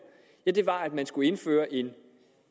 var at man skulle indføre en